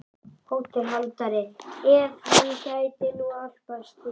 HÓTELHALDARI: Ef hann gæti nú álpast til.